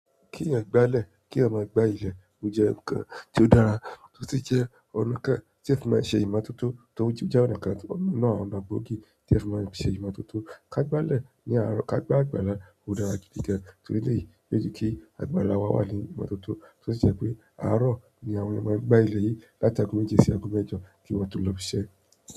Kí yan gbá ilẹ̀, kí a máa gba ilẹ̀, ó jẹ́ ǹkan tó dára o si jẹ́ ọ̀nà kan tí ẹ fi máa ń ṣe ìmọ̀tótó tó jíjà oníkàǹtú náà lgbòó gi ti ẹ fi máa ń ṣe ìmọ̀tótó. Ka gbalẹ̀ ní àárọ̀, ka gba àgbàlá ó dára gidi gan torí pé yóò jẹ́ kí àgbàlá wa wà ní ìmọ̀tótó to si jẹ́ pé àárọ̀ ni àwọn èèyàn máa ń gba ilẹ̀ yìí láti ago méjì sí ago mẹ́jọ kí wọ́n tó lọ ìṣẹ́.